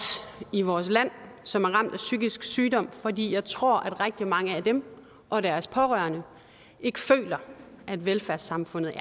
i vores land som er ramt af psykisk sygdom fordi jeg tror at rigtig mange af dem og deres pårørende ikke føler at velfærdssamfundet